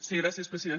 sí gràcies president